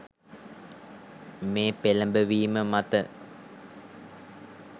මේ පෙළඹවීම මත